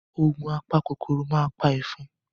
Ògùn apa kòkòrò ma pa ẹ̀fọn.